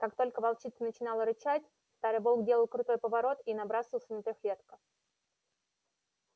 как только волчица начинала рычать старый волк делал крутой поворот и набрасывался на трёхлетка